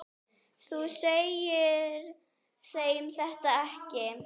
Þú segir þeim þetta ekki.